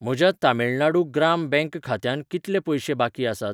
म्हज्या तमिळनाडू ग्राम बँक खात्यांत कितले पयशें बाकी आसात?